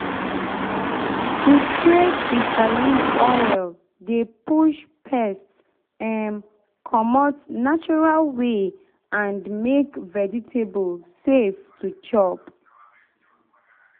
to spray bitter leaf oil dey push pest um commot natural way and make vegetable safe to chop.